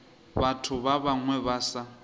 batho ba bangwe ba sa